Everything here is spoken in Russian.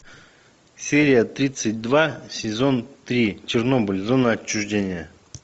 серия тридцать два сезон три чернобыль зона отчуждения